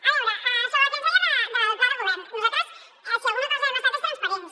a veure sobre el que ens deia del pla de govern nosaltres si alguna cosa hem estat és transparents